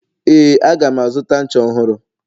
ee, aga m azụta ncha ọhụrụ